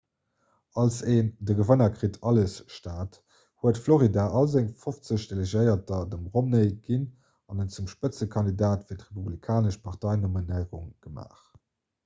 als en 'de gewënner kritt alles'-staat huet florida all seng fofzeg delegéierter dem romney ginn an en zum spëtzekandidat fir d'republikanesch parteinominéierung gemaach